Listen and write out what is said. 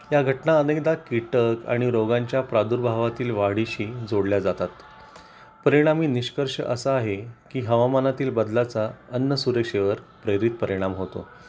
त्या घटना अनेकदा कीटक आणि रोगांच्या प्रादुर्भावातील वाढीशी जोडल्या जातात, परिणामी निष्कर्ष असा आहे की हवामानातील बदलाचा अन्न सुरक्षेवर प्रेरित परिणाम होतो